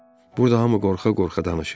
Burda hamı qorxa-qorxa danışır.